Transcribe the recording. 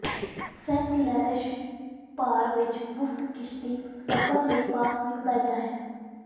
Saint Lawrence ਭਰ ਵਿੱਚ ਮੁਫਤ ਕਿਸ਼ਤੀ ਸਫ਼ਰ ਲਈ ਪਾਸ ਵੀ ਵਧੀਆ ਹੈ